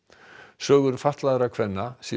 sögur fatlaðra kvenna séu